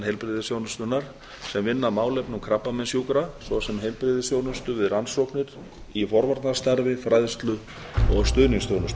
heilbrigðisþjónustunnar sem vinna að málefnum krabbameinssjúkra svo sem heilbrigðisþjónustu við rannsóknir í forvarnastarf fræðslu og stuðningsþjónustu